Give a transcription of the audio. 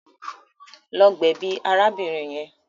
Lọ gbèbí arábìnrin yẹn.